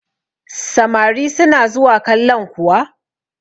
samari suna zuwa kallan kuwa